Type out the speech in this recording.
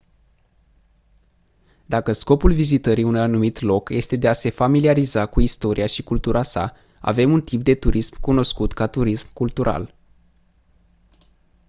dacă scopul vizitării unui anumit loc este de a se familiariza cu istoria și cultura sa avem un tip de turism cunoscut ca turism cultural